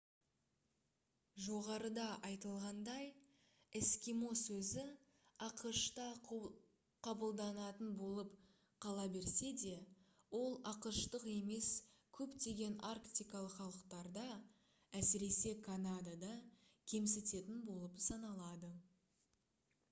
жоғарыда айтылғандай «эскимо» сөзі ақш-та қабылданатын болып қала берсе де ол ақш-тық емес көптеген арктикалық халықтарда әсіресе канадада кемсітетін болып саналады